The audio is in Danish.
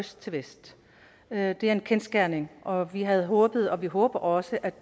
øst til vest det er en kendsgerning og vi havde håbet og vi håber også at